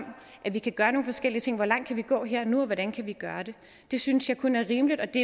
at vi kan gøre nogle forskellige ting hvor langt kan vi gå her og nu og hvordan kan vi gøre det det synes jeg kun er rimeligt og det